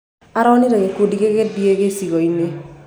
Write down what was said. Aronĩre kĩndũ gĩgĩthĩe gĩcĩcĩoĩnĩ